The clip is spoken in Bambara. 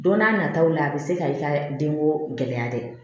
Don n'a nataw la a bɛ se ka i ka denko gɛlɛya dɛ